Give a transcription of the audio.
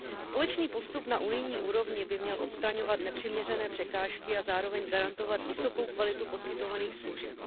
Společný postup na unijní úrovni by měl odstraňovat nepřiměřené překážky a zároveň garantovat vysokou kvalitu poskytovaných služeb.